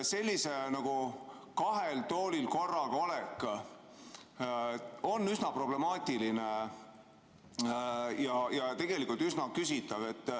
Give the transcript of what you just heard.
Selline nagu kahel toolil korraga olek on üsna problemaatiline ja tegelikult üsna küsitav.